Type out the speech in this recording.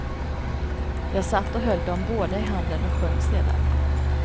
Jag satt och höll dem båda i handen och sjöng sedan.